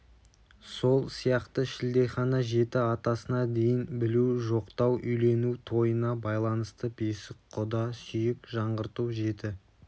сол сияқты шілдехана жеті атасына дейін білу жоқтау үйлену тойына байланысты бесік құда сүйек жаңғырту жеті